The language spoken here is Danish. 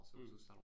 Mh